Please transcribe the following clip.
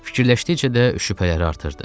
Fikirləşdikcə də şübhələri artırdı.